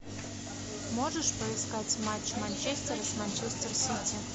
можешь поискать матч манчестер с манчестер сити